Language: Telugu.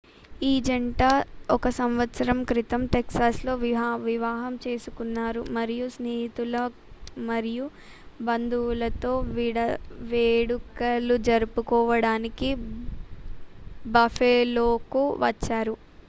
ఈ జంట 1సంవత్సరం క్రితం టెక్సాస్లో వివాహం చేసుకున్నారు మరియు స్నేహితులు మరియు బంధువులతో వేడుకలు జరుపుకోవడానికి బఫెలోకు వచ్చారు